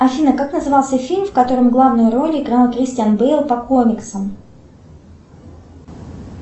афина как назывался фильм в котором главную роль играл кристиан бейл по комиксам